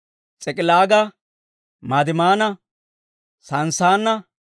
S'ik'ilaaga, Madimaana, Sanssaana,